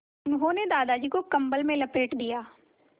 उन्होंने दादाजी को कम्बल में लपेट दिया